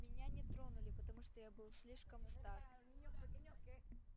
меня не тронули потому что я был слишком стар